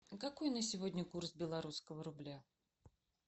какой на сегодня курс белорусского рубля